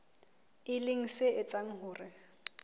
e leng se etsang hore